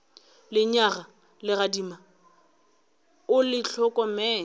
lenyaga legadima o le hlokomele